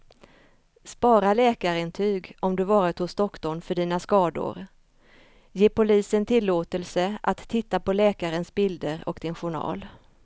Spara läkarintyg om du varit hos doktorn för dina skador, ge polisen tillåtelse att titta på läkarens bilder och din journal.